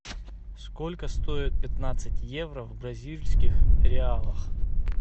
сколько стоит пятнадцать евро в бразильских реалах